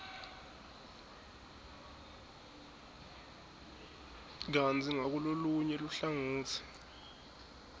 kantsi ngakulolunye luhlangotsi